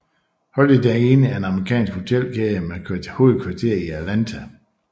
Holiday Inn er en amerikansk hotelkæde med hovedkvarter i Atlanta